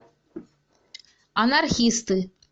анархисты